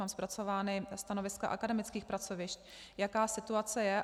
Mám zpracována stanoviska akademických pracovišť, jaká situace je.